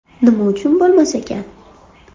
Nima uchun bo‘lmas ekan?